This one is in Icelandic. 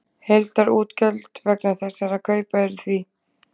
Heildarútgjöld vegna þessara kaupa eru því: